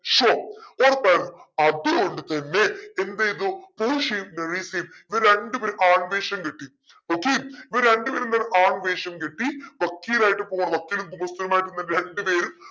so ഉറപ്പായിരുന്നു അതുകൊണ്ടുതന്നെ എന്തെയ്തു പോഷിയയും മെറീസയും ഇവര് രണ്ട് പേരും കിട്ടി okay ഇവർ രണ്ട് പേരും എന്താണ് കിട്ടി വക്കീലായിട്ട് പോവ വക്കീൽ